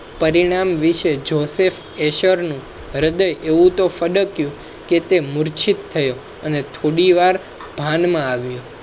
પરિણામ વિશે joseph heser હૃદય એવું તોહ ફડકિયું કે તે મુર્છિત થયો અને થોડીવાર ભાનમાં આવ્યો